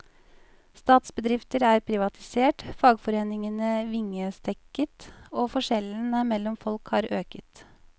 Statsbedrifter er privatisert, fagforeningene vingestekket og forskjellene mellom folk har øket.